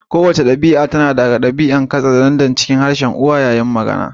Kowace kabila tana da katsalandan cikin harshen uwa yayin magana.